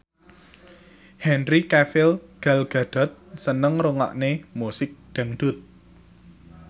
Henry Cavill Gal Gadot seneng ngrungokne musik dangdut